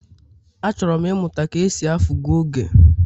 Achọrọ m ịmụta ka e si afu goge.